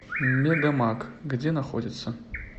мегамаг где находится